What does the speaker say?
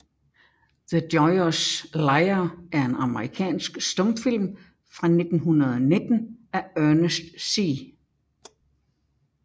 The Joyous Liar er en amerikansk stumfilm fra 1919 af Ernest C